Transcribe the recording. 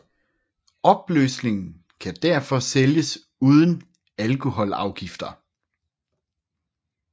Opløsningen kan derfor sælges uden alkoholafgifter